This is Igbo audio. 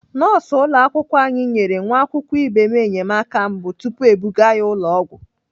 Nọọsụ ụlọakwụkwọ anyị nyere nwa akwụkwọ ibe m enyemaka mbụ tupu ebuga ya ụlọ ọgwụ.